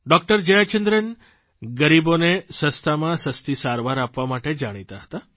doctor Jayachandran ગરીબોને સસ્તામાં સસ્તી સારવાર આપવા માટે જાણીતા હતા